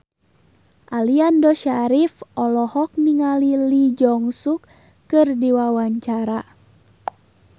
Aliando Syarif olohok ningali Lee Jeong Suk keur diwawancara